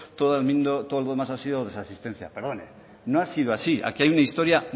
todo lo demás ha sido desasistencia perdone no ha sido así aquí hay una historia